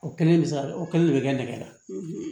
O kelen bɛ se ka o kelen de bɛ kɛ nɛgɛ la